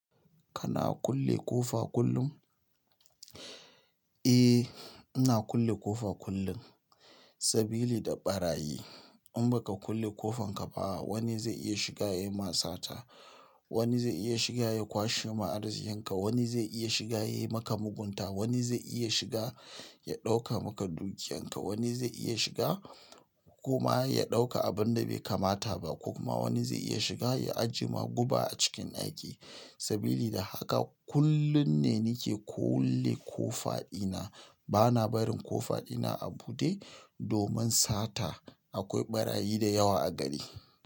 Kana kulle ƙofa kullum? Eh, ina kulle ƙofa kullum sabili da ɓarayi. In ba ka kulle ƙofanka ba wani zai iya shiga ya yi ma sata. Wani zai iya shiga ya kwashe ma arziƙinka. Wani zai iya shiga ya yi maka mugunta. Wani zai iya shiga ya ɗauka maka dukiyanka. Wani zai iya shiga kuma ya ɗauka abin da bai kamata ba ko kuma wani zai iya shiga ya ajiye ma guba a cikin aiki. Sabili da haka kullum ne nake kulle ƙofa ina. Bana barin ƙofa ɗina a buɗe domin sata. Akwai ɓarayi da yawa a gari.